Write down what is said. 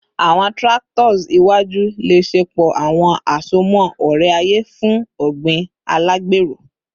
Awọn tractors iwaju le ṣepọ awọn asomọ ore-aye fun ogbin alagbero